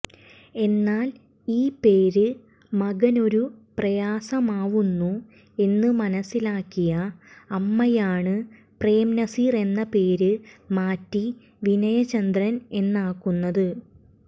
എന്നാൽ ഈ പേര് മകനൊരു പ്രയാസമാവുന്നു എന്ന് മനസ്സിലാക്കിയ അമ്മയാണ് പ്രേംനസീർ എന്ന പേര് മാറ്റി വിനയചന്ദ്രൻ എന്നാക്കുന്നത്